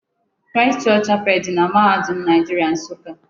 Christ Church Chapel dị na mahadum Naịjiria Nsụka.